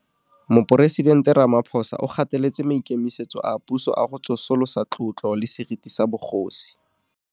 Moporesitente Ramaphosa o gateletse maikemisetso a puso a go tsosolosa tlotlo le seriti sa bogosi.